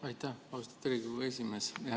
Aitäh, austatud Riigikogu esimees!